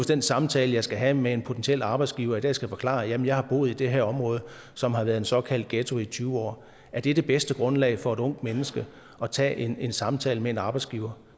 den samtale jeg skal have med en potentiel arbejdsgiver skal forklare at jeg har boet i det her område som har været en såkaldt ghetto i tyve år er det det bedste grundlag for et ungt menneske at tage en en samtale med en arbejdsgiver